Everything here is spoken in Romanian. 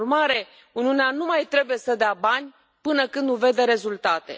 Prin urmare, Uniunea nu mai trebuie să dea bani până când nu vede rezultate.